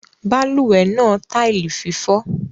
Balùwè náà tile fífó